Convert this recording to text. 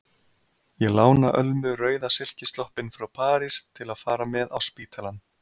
Ég lána Ölmu rauða silkisloppinn frá París til að fara með á spítalann.